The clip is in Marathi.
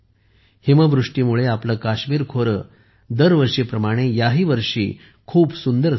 हिमवृष्टीमुळे आपले काश्मीर खोरे दरवर्षीप्रमाणे याही वर्षी खूप सुंदर झाले आहे